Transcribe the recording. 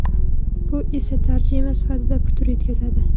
Bu esa tarjima sifatiga putur yetkazadi.